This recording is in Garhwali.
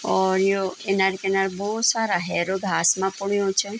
और यो किनर-किनर बहौत सारा हैरो घास मा पूडयूँ छन।